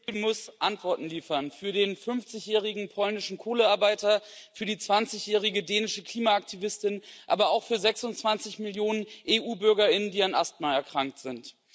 Frau Präsidentin! muss Antworten liefern für den 50 jährigen polnischen Kohlearbeiter, für die 20 jährige dänische Klimaaktivistin, aber auch für 26 Millionen EU Bürger, die an Asthma erkrankt sind.